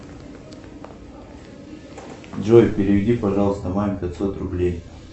джой переведи пожалуйста маме пятьсот рублей